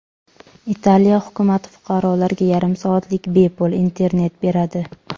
Italiya hukumati fuqarolarga yarim soatlik bepul internet beradi.